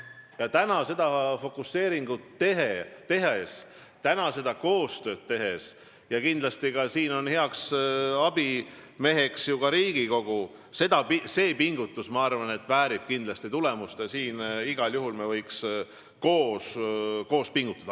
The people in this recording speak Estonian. Kui täna seda fokuseeringut tehakse, seda koostööd tehakse – siin on heaks abimeheks ju ka Riigikogu –, siis see pingutus, ma arvan, väärib kindlasti tulemust ja me võiksime igal juhul koos pingutada.